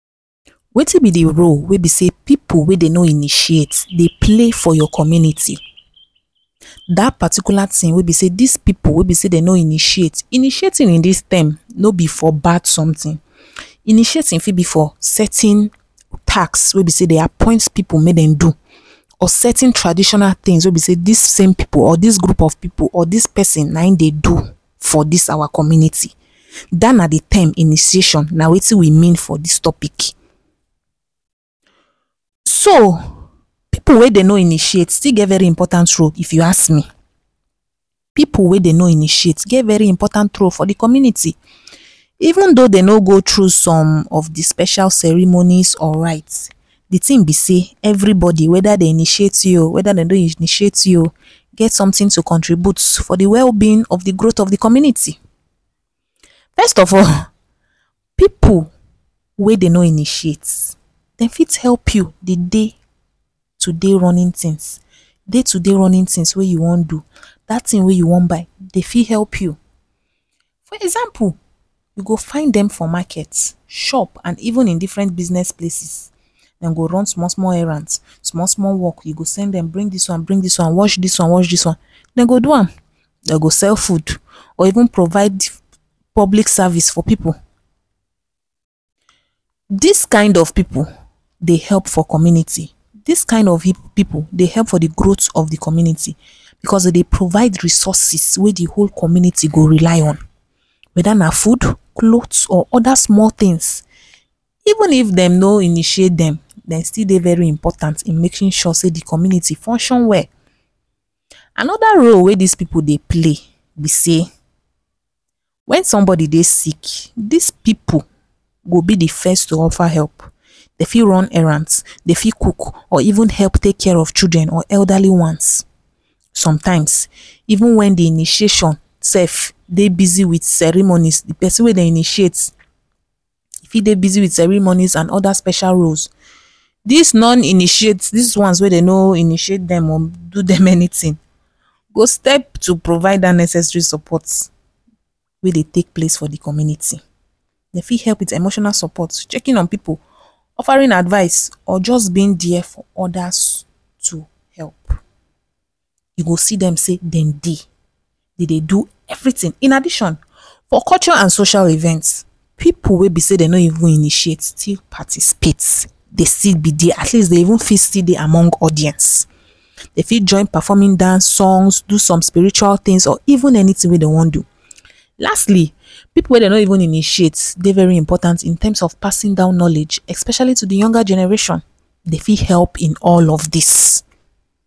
Wetin be de role wey be sey pipu wey dey no initiate dey play for your community? dat particular thing wey be sey dis pipu wey be sey dey no initiate, initiating in dis term no be for bad something initiating fit be for certain task wey be sey dem appoint pipu make dem do or certain traditional things wey be sey dis group of pipu or person na em dey do for dis our community, dat na de term initiation na wetin we mean for dis topic. so pipu wey dem no intimate still get very important role if u ask me pipu wey dem no intimate get very important role for de community even thou dem no go through some of de special ceremonies or rite de thing be sey every body weda dem initiate you o weda dem no initiate you get something to contribute for the wellbeing of de growth community. first of all pipu wey dem no initiate dey fit help you dey day to day Runnings things day to day running things wey u wan do dat thing wey u wan buy dem fit help you for example we go find dem for market, shop and even in different business places dem go run small small errand small small work you go send dem bring dis one bring dis one wash dis one wash dis one dem go do am dem go sale food or even provide public service for pipu. dis kind of people dey help for community dis kind pipu dey help for de growth of de community because dem dey provide resources wey dey whole community go relay on weda na food, cloth or other small thing even if dem no initiate dem, dem still dey very important in making sure sey de community dey function well another role wey dis pipu dey play be sey when somebody dey sick dis pipu go be de first to offer help dem fit run errand dem fit cook or even help take care of children or elderly ones sometimes even wen de initiation sef dey busy with ceremony de person wey dem dey initiate fit dey busy with ceremony other special roles dis non imitate dese ones wey dem no initiate or do dem anything go step to provide dat necessary support wey dey take place for de community dey fit help with emotional support checking on people offering advice or just been there for others to help u go see dem sey dem dey dey dey do everything in addition for cultural and social event pipu wey be sey dem no even initiate still participate dey still be at least dem fit still dey among audience dem fit join performing dance songs or do some spiritual tins or even anything wey dem wan do lastly pipu wey dem no even initiate dey very important in term of passing down knowledge especially to the younger generation dey fit help in all of dis.